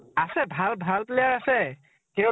আছে ভাল ভাল player আছে । কিন্তু